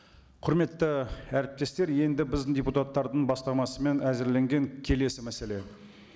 құрметті әріптестер енді біздің депутаттардың бастамасымен әзірленген келесі мәселе